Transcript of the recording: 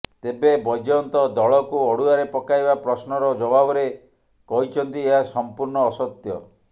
ତେବେ ବୈଜୟନ୍ତ ଦଳକୁ ଅଡୁଆରେ ପକାଇବା ପ୍ରଶ୍ନର ଜବାବରେ କହିଛନ୍ତି ଏହା ସମ୍ପୂର୍ଣ୍ଣ ଅସତ୍ୟ